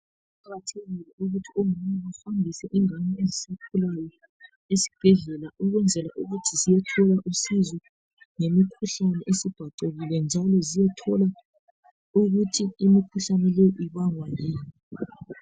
Kuqakathekile ukuthi omama bahambise ingane ezisakhulayo esibhedlela ukwenzela ukuthi ziyethola usizo ngemikhuhlane esibhacekile njalo ziyethola ukuthi imikhuhlane le ibangwa yini